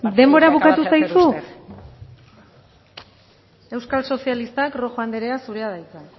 partidista el que acaba de hacer usted denbora bukatu zaizu euskal sozialistak rojo anderea zurea da hitza